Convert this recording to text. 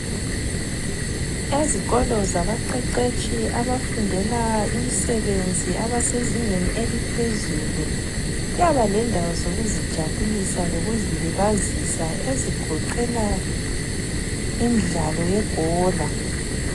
Ezikolo zabaqeqetshi abafundela imisebenzi abasezingeni eliphezulu kuyaba lendawo zokuzijabulisa lokuzilibazisa ezigoqela imidlalo yebhola.